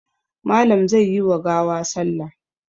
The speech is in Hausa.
Malam zai yi wa gawa salla.